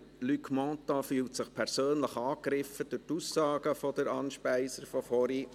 Luc Mentha fühlt sich durch die vorherige Aussage von Anne Speiser persönlich angegriffen.